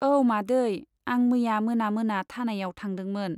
औ मादै , आं मैया मोना मोना थानायाव थांदोंमोन।